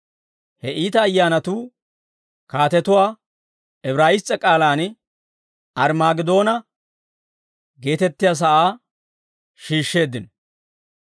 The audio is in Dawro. He iita ayyaanatuu kaatetuwaa Ibraayiss's'e k'aalaan Arimaagedoona geetettiyaa sa'aa shiishsheeddino.